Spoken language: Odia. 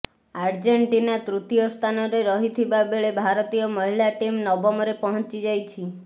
ଆର୍ଜେଣ୍ଟିନା ତୃତୀୟ ସ୍ଥାନରେ ରହିଥିବା ବେଳେ ଭାରତୀୟ ମହିଳା ଟିମ୍ ନବମରେ ପହଞ୍ଚିଯାଇଛି